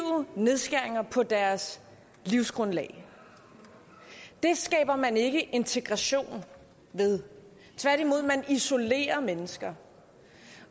nedskæringer på deres livsgrundlag det skaber man ikke integration ved tværtimod isolerer man mennesker